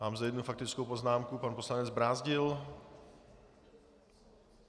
Mám zde jednu faktickou poznámku, pan poslanec Brázdil.